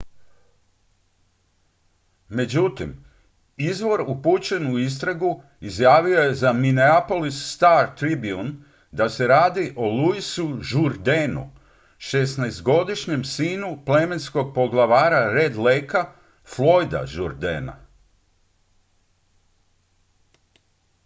međutim izvor upućen u istragu izjavio je za minneapolis star-tribune da se radi o louisu jourdainu 16-godišnjem sinu plemenskog poglavara red lakea floyda jourdaina